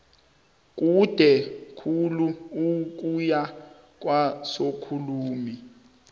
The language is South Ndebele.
kude khulu ukuya kwasokhulumi